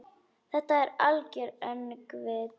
Þetta algera öngvit?